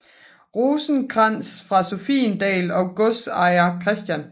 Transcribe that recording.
Rosenkrantz fra Sophiendal og godsejer Chr